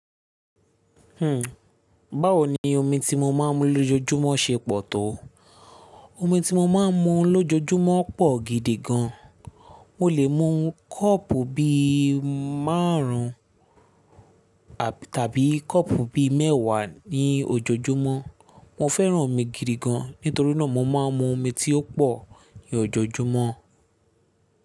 Hmm báwo ni omi tí mo máa ń mu lójoojúmọ́ ṣe pọ̀ tó? Omi tí mo máa ń mu lójoojúmọ́ pọ̀ gidi gan. Mo lè mu kọ́ọ̀pù bí márùn ún tàbí kọ́ọ̀pù bí mẹ́wàá ní ojoojúmọ́. Mo fẹ́ràn omi gidi gan, nítorí náà mo máa ń mu omi tí ó pọ̀ ní ojoojúmọ́.